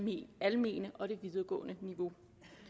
det almene og det videregående niveau